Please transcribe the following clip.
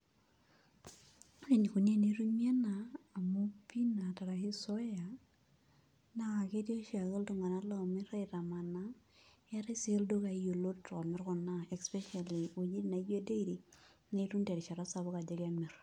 Ore enikoni tenetumi ena amu peanut arashu zoea, naa ketii oshiake iltung'anak lomir aitamanaa, eetae si ildukai yiolot omir kuna especially wojiting naijo dairy, nitum terishata sapuk ajo kemir.